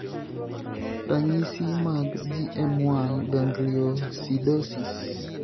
ranisi mag GM1 gangliosidosis